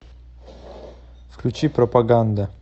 включи пропаганда